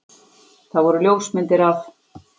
Það voru ljósmyndir af